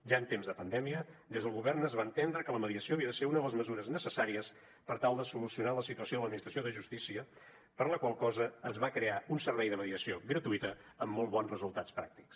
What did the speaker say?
ja en temps de pandèmia des del govern es va entendre que la mediació havia de ser una de les mesures necessàries per tal de solucionar la situació de l’administració de justícia per la qual cosa es va crear un servei de mediació gratuïta amb molt bons resultats pràctics